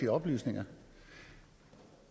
og ringsted